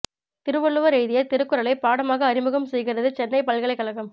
திருவள்ளுவர் எழுதிய திருக்குறளை பாடமாக அறிமுகம் செய்கிறது சென்னை பல்கலைக் கழகம்